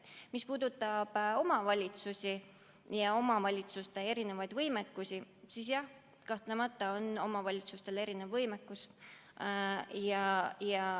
Mis puudutab omavalitsusi ja nende erinevat võimekust, siis jah, kahtlemata on omavalitsustel erinev võimekus.